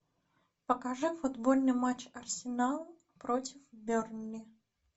покажи футбольный матч арсенал против бернли